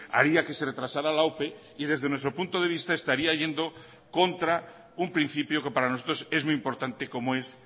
haría que se retrasará la ope y desde nuestro punto de vista estaría yendo contra un principio que para nosotros es muy importante como es